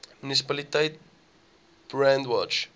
munisipaliteit brandwatch